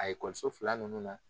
A fila nunnu na